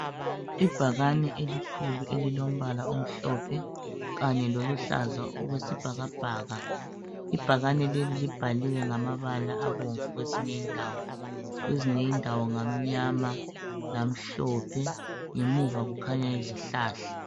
Ibhakane elikhulu elombala omhlophe kanye loluhlaza okwesibhakabhaka ibhakane leli libhaliwe ngamabala abomvu kweyinye indawo kwezinye indawo ngamnyama lamhlophe ngemuva kukhanya izihlahla.